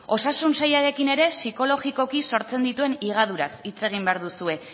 osasun sailarekin ere psikologikoki sortzen dituen higaduraz hitz egin behar duzue